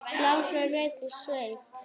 blágrár reykur yfir sveif